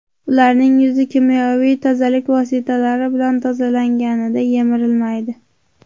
Ularning yuzi kimyoviy tozalik vositalari bilan tozalanganida yemirilmaydi.